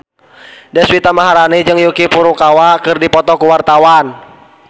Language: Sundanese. Deswita Maharani jeung Yuki Furukawa keur dipoto ku wartawan